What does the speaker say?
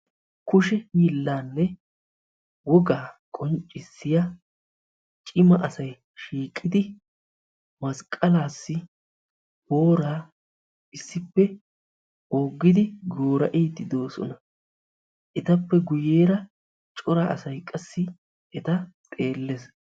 Kushe hiillaanne wogaa qonccissiya cimma asay shiiqqidi masqqaalaas booraa issippe oogidi goora"di doossona, ettappe guyeera cora asay qassi etta xeellees.